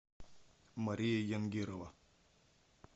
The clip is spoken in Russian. мария янгирова